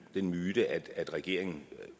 den myte at regeringen